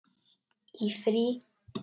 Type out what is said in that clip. Í frí.